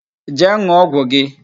Jee n̄ụọ ọgwụ gị!